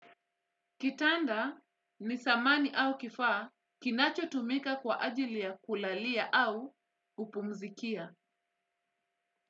Kitanda ni samani au kifaa kinachotumika kwa ajili ya kulalia au kupumzikia.